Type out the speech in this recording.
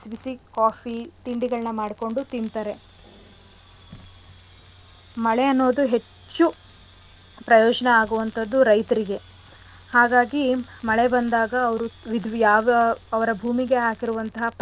ಬಿಸಿ ಬಿಸಿ coffee ತಿಂಡಿಗಳ್ನ ಮಾಡ್ಕೊಂಡು ತಿಂತಾರೆ ಮಳೆ ಅನ್ನೋದು ಹೆಚ್ಚು ಪ್ರಯೋಜನ ಆಗೋ ಅಂಥದ್ದು ರೈತ್ರಿಗೆ ಹಾಗಾಗಿ ಮಳೆ ಬಂದಾಗ ಅವ್ರು ವಿದ್ ಯಾವ ಅವ್ರ ಭೂಮಿಗೆ ಹಾಕಿರುವಂಥ ಫಲವತ್ತಾದ.